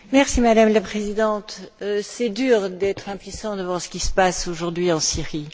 Madame la Présidente, c'est dur d'être impuissant devant ce qui se passe aujourd'hui en Syrie.